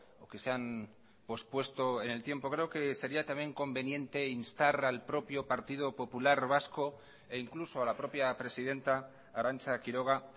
o que se han pospuesto en el tiempo creo que sería también conveniente instar al propio partido popular vasco e incluso a la propia presidenta arantza quiroga